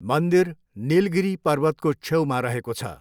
मन्दिर निलागिरी पर्वतको छेउमा रहेको छ।